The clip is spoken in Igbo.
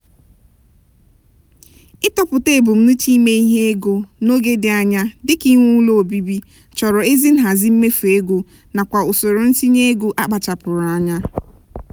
ịtọpụta ebumnuche ime ihe ego n'oge dị anya dịka inwe ụlọ obibi chọrọ ezi nhazi mmefu ego nakwa usoro ntinye ego akpachapụụrụ nya.